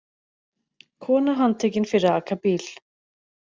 Kona handtekin fyrir að aka bíl